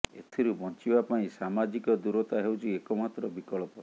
ଏଥିରୁ ବଞ୍ଚିବା ପାଇଁ ସାମାଜିକ ଦୂରତା ହେଉଛି ଏକମାତ୍ର ବିକଳ୍ପ